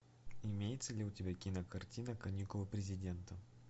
имеется ли у тебя кинокартина каникулы президента